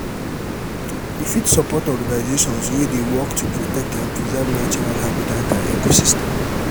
you fit support organizations wey dey work to protect and preserve natural habitants and ecosystem.